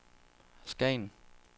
Skagen